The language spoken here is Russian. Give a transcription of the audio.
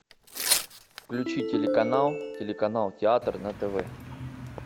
включи телеканал телеканал театр на тв